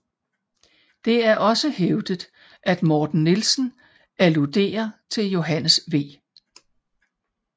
Det er også hævdet at Morten Nielsen alluderer til Johannes V